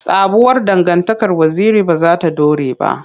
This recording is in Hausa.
Sabuwar dangantakar Waziri ba za ta dore ba.